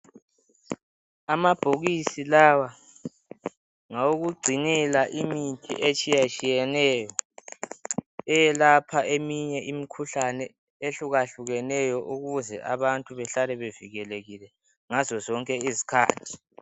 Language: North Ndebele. Amabhokisi lawa, ngawokugcinela imithi etshiyatshiyeneyo. Eyelapha eminye imikhuhlane ehlukahlukeneyo ukuze abantu behlale bevikelekile ngazo zonke izikhathi.